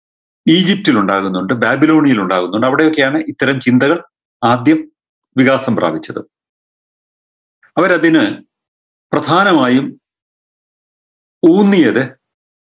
ഈജിപ്തിലുണ്ടാവുന്നുണ്ട് ബാബിലോണിയയിൽ ഉണ്ടാവുന്നുണ്ട് അവിടൊക്കെയാണ് ഇത്തരം ചിന്തകൾ ആദ്യം വികാസം പ്രാപിച്ചത് അവരതിന് പ്രധാനമായും ഊന്നിയത്